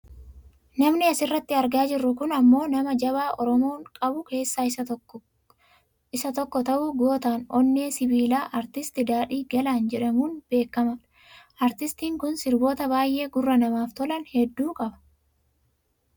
Namni asirratti argaa jirru kun ammoo nama jabaa oromoon qabu keessaa isa tokko ta'u goota onneen sibiilaa artist Daadhii Galaan jedhamuun beekkama. Artistiin kun sirboota baayyee gurra namaaf tolan hedduu qaba.